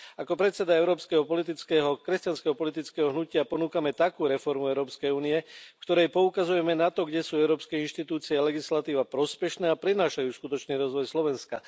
Ako predseda Európskeho kresťanského politického hnutia ponúkam takú reformu Európskej únie, v ktorej poukazujeme na to, kde sú európske inštitúcie a legislatíva prospešné a prinášajú skutočný rozvoj Slovenska.